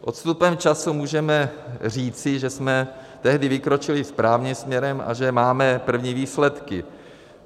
S odstupem času můžeme říci, že jsme tehdy vykročili správným směrem a že máme první výsledky.